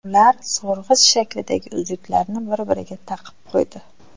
Ular so‘rg‘ich shaklidagi uzuklarni bir-biriga taqib qo‘ydi.